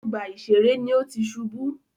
Ọgbà ìṣeré ní o tí ṣubú.